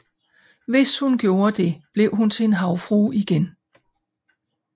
Hvis hun gjorde det blev hun til en havfrue igen